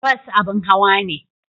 Bas abin hawa ne.